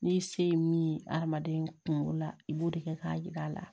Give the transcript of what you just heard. N'i se ye min ye adamaden kunkolo la i b'o de kɛ k'a yir'a la